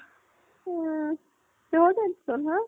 উম কিহৰ tension হা?